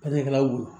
Baarakɛlaw